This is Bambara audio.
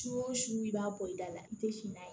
Su o su i b'a bɔ i da la i tɛ fin na